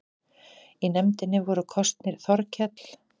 Í nefndina voru kosnir Þorkell